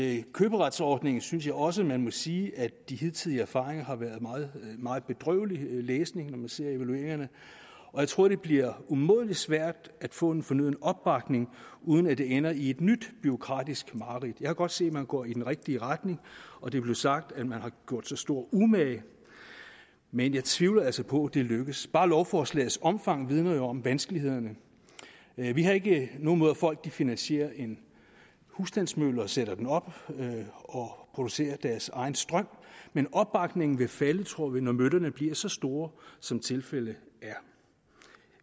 af køberetsordningen synes jeg også man må sige at de hidtidige erfaringer har været meget meget bedrøvelig læsning og jeg tror det bliver umådelig svært at få en fornøden opbakning uden at det ender i et nyt bureaukratisk mareridt jeg kan godt se man går i den rigtige retning og det blev sagt at man har gjort sig stor umage men jeg tvivler altså på det lykkes bare lovforslagets omfang vidner jo om vanskelighederne vi har ikke noget imod at folk finansierer en husstandsmølle og sætter den op og producerer deres egen strøm men opbakningen vil falde tror vi når møllerne bliver så store som tilfældet er